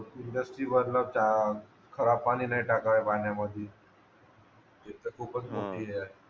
खराब पाणी नाही टाकावे पाण्यामध्ये